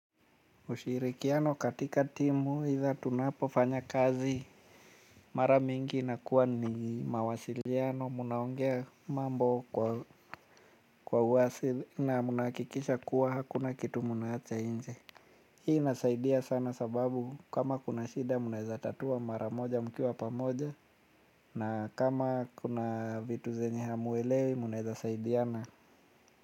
Ushirikiano katika timu either tunapofanya kazi mara mingi inakuwa ni mawasiliano mnaongea mambo kwa uasili na mnahakikisha kuwa hakuna kitu mnaacha inje. Hii inasaidia sana sababu kama kuna shida mnaeza tatua mara moja mkiwa pamoja na kama kuna vitu zenye hamuelewi mnaeza saidiana.